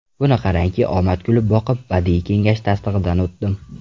Buni qarangki omad kulib boqib, badiiy kengash tasdig‘idan o‘tdim.